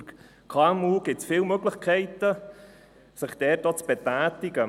Für KMU gibt es viele Möglichkeiten, sich in dieser Hinsicht zu betätigen.